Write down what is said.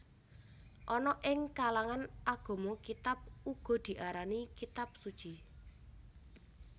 Ana ing kalangan agama kitab uga diarani kitab suci